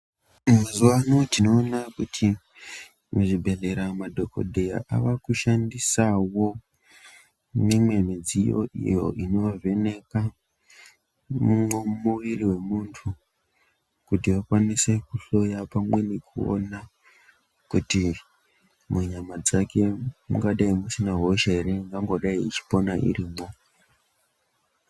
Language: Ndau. Mazuwa ano tinoona kuti madhokodheya avakushandisawo imwe midziyo iyo inovheneka mwiri wemunhu kuti akwanise kuhloya pamwe nekuona kuti munyama dzake mungadai musina hosha ere ingangodai ichipona irimwo.